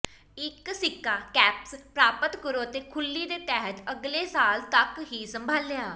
ਇੱਕ ਸਿੱਕਾ ਕੈਪਸ ਪ੍ਰਾਪਤ ਕਰੋ ਅਤੇ ਖੁਰਲੀ ਦੇ ਤਹਿਤ ਅਗਲੇ ਸਾਲ ਤੱਕ ਹੀ ਸੰਭਾਲਿਆ